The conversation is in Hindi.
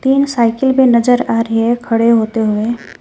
तीन साईकिल भी नजर आ रही है खड़े होते हुए।